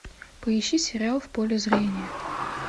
поищи сериал в поле зрения